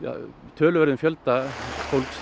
töluverðum fjölda fólks